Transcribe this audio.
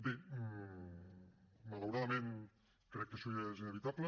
bé malauradament crec que això ja és inevitable